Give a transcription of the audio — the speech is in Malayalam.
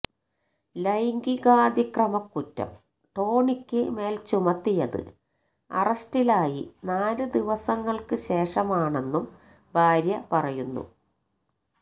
ലൈംഗികാതിക്രമക്കുറ്റം ടോണിക്ക് മേല് ചുമത്തിയത് അറസ്റ്റിലായി നാല് ദിവസങ്ങള്ക്ക് ശേഷമാണെന്നും ഭാര്യ പറയുന്നു